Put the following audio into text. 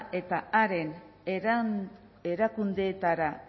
eta haren erakundeetara